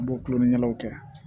An b'o kulon ni ɲɛnamaw kɛ